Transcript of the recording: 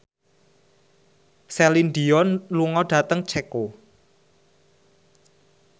Celine Dion lunga dhateng Ceko